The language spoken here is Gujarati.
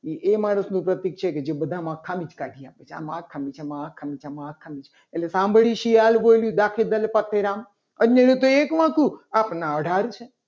એ એ માણસનું પ્રતીક છે. જે બધામાં ખામી જ કાઢે છે. કે આમાં આ ખામી છે. આમાં આ ખામી છે. એટલે સાંભળ્યું શિયાળ બોલ્યું. રાખે દલપતરામ અને અન્યનું તો એક હતું. આપના અધહાર છે.